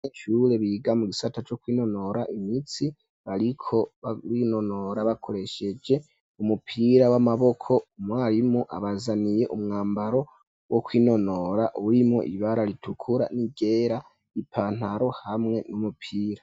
Abanyeshure biga mu gisata co kwinonora imisi bariko babinonora bakoresheje umupira w'amaboko umwarimu abazaniye umwambaro wo kwinonora urimo ibara ritukura ni ryera ipantaro hamwe n'umupira.